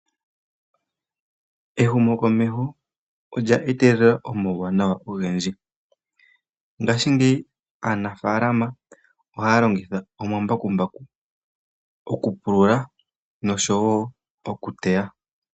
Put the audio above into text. Ehumo komesho olya etelela omawu wanawa ogendi, ngashi ngeyi aanafalama ohayalongitha omambakumbaku okupulula noshowo okuteya.